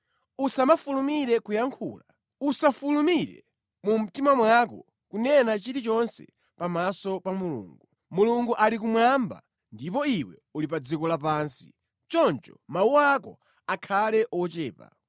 Usamafulumire kuyankhula, usafulumire mu mtima mwako kunena chilichonse pamaso pa Mulungu. Mulungu ali kumwamba ndipo iwe uli pa dziko lapansi, choncho mawu ako akhale ochepa.